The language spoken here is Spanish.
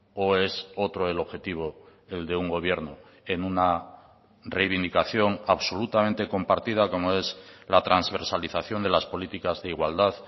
o es otro el objetivo el de un gobierno en una reivindicación absolutamente compartida como es la transversalización de las políticas de igualdad